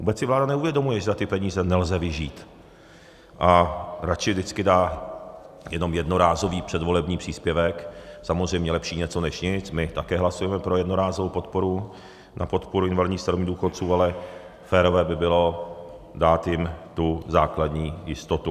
Vůbec si vláda neuvědomuje, že za ty peníze nelze vyžít, a radši vždycky dá jenom jednorázový předvolební příspěvek, samozřejmě lepší něco než nic, my také hlasujeme pro jednorázovou podporu na podporu invalidních, starobních důchodců, ale férové by bylo dát jim tu základní jistotu.